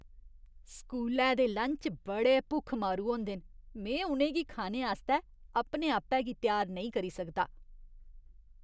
स्कूलै दे लंच बड़े भुक्ख मारू होंदे न, में उ'नें गी खाने आस्तै अपने आपै गी त्यार नेईं करी सकदा।